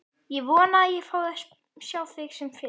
Ég vona að ég fái að sjá þig sem fyrst.